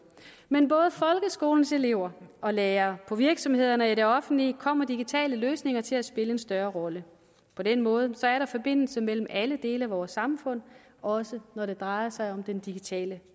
men både for folkeskolens elever og lærere på virksomhederne og i det offentlige kommer digitale løsninger til at spille en større rolle på den måde er der forbindelse mellem alle dele af vores samfund også når det drejer sig om den digitale